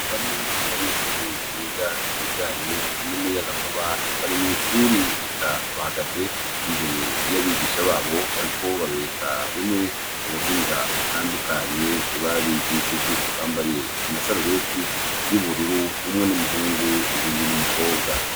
Bamwe mubanyeshue biga ibijanye n'umuyagankuba bari mw'ishure eka bahagaze imbere y'abigisha babo bariko babereka bimwe m'ubuhinga butandukanye babigishije. Bambaye amasarubeti y'ubururu umwe n'umuhungu uyundi n'umukobwa.